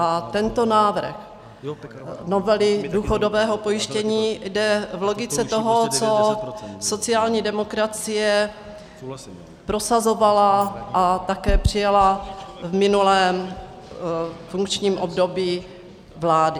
A tento návrh novely důchodového pojištění jde v logice toho, co sociální demokracie prosazovala a také přijala v minulém funkčním období vlády.